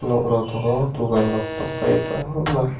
nog rog tongo dogan rok tongfai yo kobangmaa.